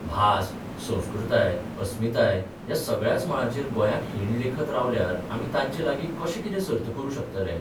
भास, संस्कृताय, अस्मिताय ह्या सगळ्याच मळांचेर गोंयाक हीण लेखत रावल्यार आमी तांचे लागीं कशे कितें सर्त करूंक शकतले?